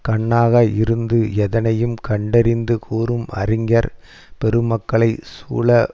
கண்ணாக இருந்து எதனையும் கண்டறிந்து கூறும் அறிஞர் பெருமக்களைச் சூழ